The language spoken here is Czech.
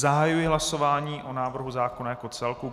Zahajuji hlasování o návrhu zákona jako celku.